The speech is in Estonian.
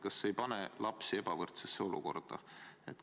Kas see ei pane lapsi ebavõrdsesse olukorda?